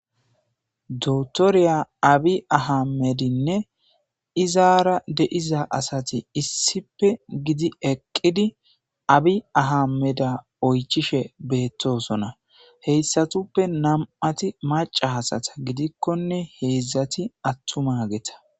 Dotoriya Abi Ahamedinne izaara de'iza asati issippe giddi eqqidi Abi Ahameda oychishe beettosona. He issatuppe nam'ati maca asata giddikkone heezzati attumageta.